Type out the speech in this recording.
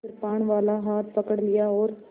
कृपाणवाला हाथ पकड़ लिया और